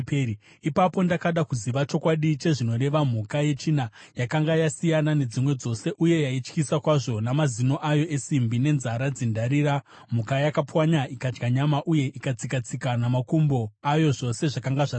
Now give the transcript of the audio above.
“Ipapo ndakada kuziva chokwadi chezvinoreva mhuka yechina, yakanga yakasiyana nedzimwe dzose uye yaityisa kwazvo, namazino ayo esimbi nenzara dzendarira, mhuka yakapwanya ikadya nyama uye ikatsika-tsika namakumbo ayo zvose zvakanga zvasara.